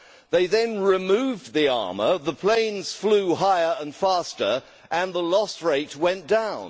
They then removed the armour, the planes flew higher and faster and the loss rate went down.